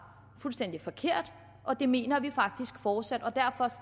fuldstændig forkert og det mener vi faktisk fortsat og derfor